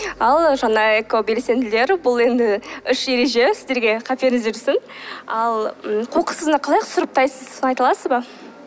ал жаңа экобелсенділер бұл енді үш ереже сіздерге қаперіңізде жүрсін ал м қоқысты қалай сұрыптайсыз соны айта аласыз ба